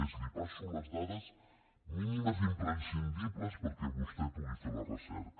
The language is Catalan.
és li passo les dades mínimes imprescindibles perquè vostè pugui fer la recerca